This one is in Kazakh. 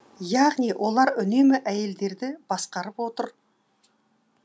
яғни олар үнемі әйелдерді басқарып отыр